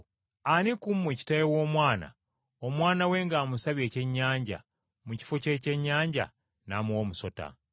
“Ani ku mmwe kitaawe w’omwana, omwana we ng’amusabye ekyennyanja, mu kifo ky’ekyennyanja n’amuwa omusota?